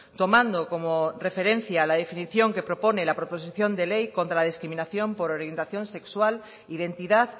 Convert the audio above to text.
tomando como referencia la definición que propone la proposición de ley contra la discriminación por orientación sexual identidad